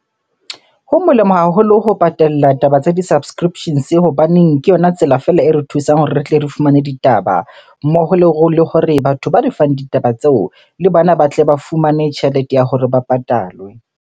Ho molemo haholo ho patalla taba tsa di-subscriptions hobaneng ke yona tsela feela e re thusang hore re tle re fumane ditaba. Mmoho le hore batho ba re fang ditaba tseo le bona ba tle ba fumane tjhelete ya hore ba patalwe.